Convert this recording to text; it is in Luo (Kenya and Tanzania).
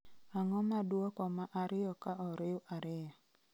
ang'o ma duoko ma ariyo ka oriw ariyo